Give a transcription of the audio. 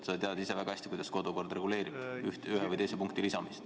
Sa tead ise väga hästi, kuidas kodukord reguleerib ühe või teise punkti lisamist.